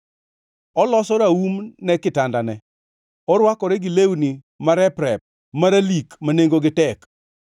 Oloso raum ne kitandane, orwakore gi lewni marep-rep maralik ma nengogi tek.